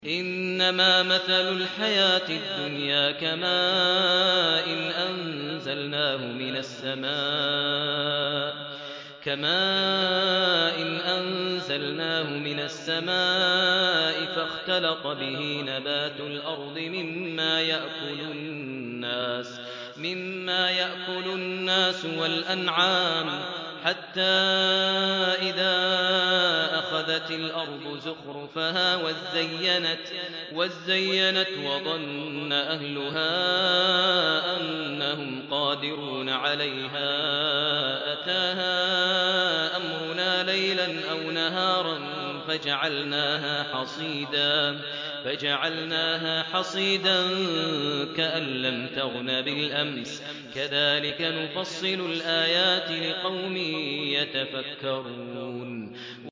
إِنَّمَا مَثَلُ الْحَيَاةِ الدُّنْيَا كَمَاءٍ أَنزَلْنَاهُ مِنَ السَّمَاءِ فَاخْتَلَطَ بِهِ نَبَاتُ الْأَرْضِ مِمَّا يَأْكُلُ النَّاسُ وَالْأَنْعَامُ حَتَّىٰ إِذَا أَخَذَتِ الْأَرْضُ زُخْرُفَهَا وَازَّيَّنَتْ وَظَنَّ أَهْلُهَا أَنَّهُمْ قَادِرُونَ عَلَيْهَا أَتَاهَا أَمْرُنَا لَيْلًا أَوْ نَهَارًا فَجَعَلْنَاهَا حَصِيدًا كَأَن لَّمْ تَغْنَ بِالْأَمْسِ ۚ كَذَٰلِكَ نُفَصِّلُ الْآيَاتِ لِقَوْمٍ يَتَفَكَّرُونَ